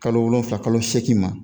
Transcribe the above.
Kalo wolonwula kalo segi ma